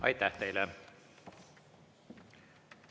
Aitäh teile!